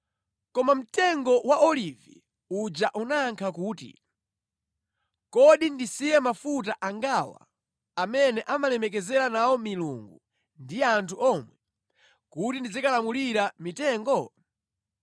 “Koma mtengo wa olivi uja unayankha kuti, ‘Kodi ndisiye mafuta angawa amene amalemekezera nawo milungu ndi anthu omwe, kuti ndizikalamulira mitengo?’ ”